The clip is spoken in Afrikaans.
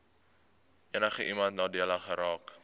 enigiemand nadelig geraak